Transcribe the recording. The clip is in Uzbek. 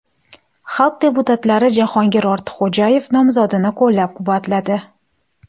Xalq deputatlari Jahongir Ortiqxo‘jayev nomzodini qo‘llab-quvvatladi.